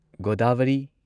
Godavari